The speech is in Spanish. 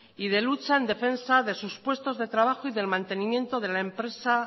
y de lucha en defensa de sus puestos de trabajo y del mantenimiento de la empresa